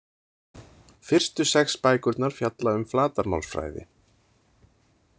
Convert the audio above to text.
Fyrstu sex bækurnar fjalla um flatarmálsfræði.